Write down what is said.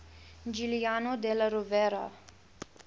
giuliano della rovere